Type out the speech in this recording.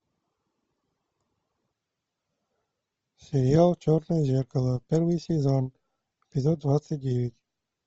сериал черное зеркало первый сезон эпизод двадцать девять